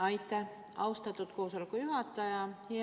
Aitäh, austatud koosoleku juhataja!